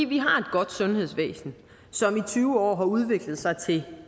vi har et godt sundhedsvæsen som i tyve år har udviklet sig til